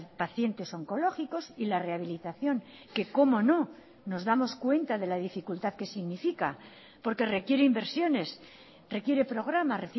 pacientes oncológicos y la rehabilitación que cómo no nos damos cuenta de la dificultad que significa porque requiere inversiones requiere programa